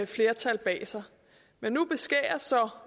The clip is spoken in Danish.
flertal bag sig men nu beskæres så